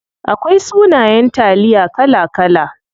Akwai sunayen taliya kala kala.